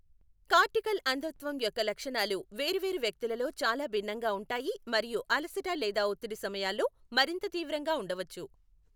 Cortical అంధత్వం యొక్క లక్షణాలు వేరు వేరు వ్యక్తులలో చాలా భిన్నంగా ఉంటాయి మరియు అలసట లేదా ఒత్తిడి సమయాల్లో మరింత తీవ్రంగా ఉండవచ్చు.